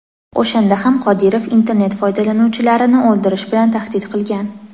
O‘shanda ham Qodirov internet foydalanuvchilarini o‘ldirish bilan tahdid qilgan.